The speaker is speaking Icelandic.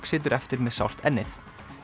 situr eftir með sárt ennið